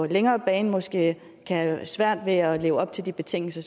længere bane måske kan have svært ved at leve op til de betingelser